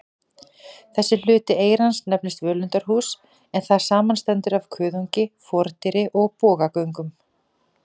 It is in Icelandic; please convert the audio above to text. Þessi hluti eyrans nefnist völundarhús, en það samanstendur af kuðungi, fordyri og bogagöngum.